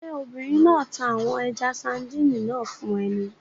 Ṣé obìnrin náà ta àwọn ẹja-sadíìnì náà fún ẹ ni?